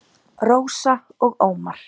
Rósa og Ómar.